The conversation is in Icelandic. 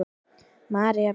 María Björg.